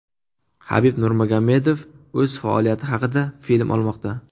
Habib Nurmagomedov o‘z faoliyati haqida film olmoqda.